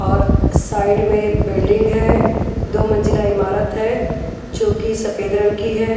और साइड में बिल्डिंग है दो मंजिला इमारत है जोकि सफेद रंग की है।